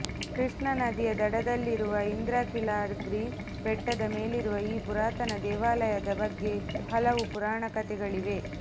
ಕೃಷ್ಣ ನದಿಯ ದಡದಲ್ಲಿರುವ ಇಂದ್ರಕೀಲಾದ್ರಿ ಬೆಟ್ಟದ ಮೇಲಿರುವ ಈ ಪುರಾತನ ದೇವಾಲಯದ ಬಗ್ಗೆ ಹಲವು ಪುರಾಣಕಥೆಗಳಿವೆ